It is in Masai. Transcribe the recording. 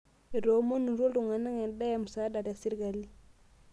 Etoomonutuo ltung'ana endaa e msaada te sirkali